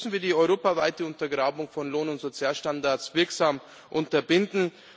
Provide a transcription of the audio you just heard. Deswegen müssen wir die europaweite Untergrabung von Lohn und Sozialstandards wirksam unterbinden.